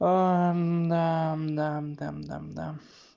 нам нам дам дам да